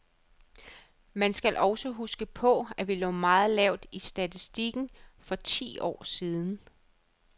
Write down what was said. Men man skal også huske på, at vi lå meget lavt i statistikken for ti år siden.